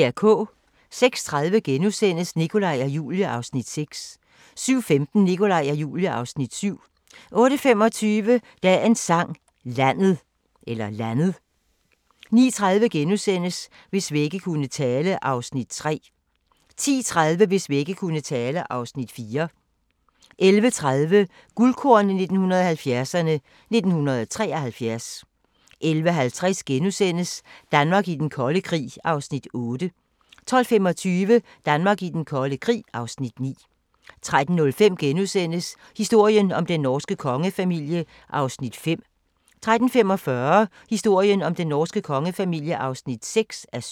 06:30: Nikolaj og Julie (Afs. 6)* 07:15: Nikolaj og Julie (Afs. 7) 08:25: Dagens Sang: Landet 09:30: Hvis vægge kunne tale (Afs. 3)* 10:30: Hvis vægge kunne tale (Afs. 4) 11:30: Guldkorn 1970'erne: 1973 11:50: Danmark i den kolde krig (Afs. 8)* 12:25: Danmark i den kolde krig (Afs. 9) 13:05: Historien om den norske kongefamilie (5:7)* 13:45: Historien om den norske kongefamilie (6:7)